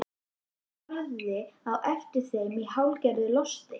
Drífa starði á eftir þeim í hálfgerðu losti.